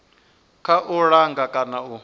kha u langa kana u